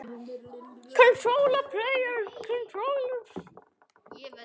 Karen: Hvað gera þeir?